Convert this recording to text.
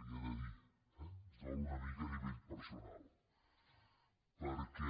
una mica li ho he de dir eh em dol una mica a nivell personal perquè